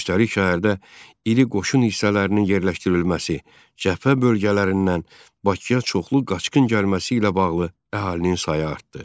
Üstəlik şəhərdə iri qoşun hissələrinin yerləşdirilməsi, cəbhə bölgələrindən Bakıya çoxlu qaçqın gəlməsi ilə bağlı əhalinin sayı artdı.